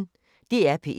DR P1